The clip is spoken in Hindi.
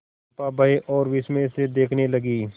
चंपा भय और विस्मय से देखने लगी